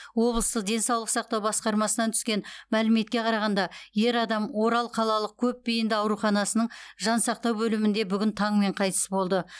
облыстық денсаулық сақтау басқармасынан түскен мәліметке қарағанда ер адам орал қалалық көпбейінді ауруханасының жансақтау бөлімінде бүгін таңмен қайтыс болды